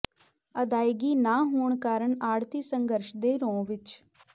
ਅਦਾਇਗੀ ਨਾ ਹੋਣ ਕਾਰਨ ਆਡ਼੍ਹਤੀ ਸੰਘਰਸ਼ ਦੇ ਰੌਂਅ ਵਿੱਚ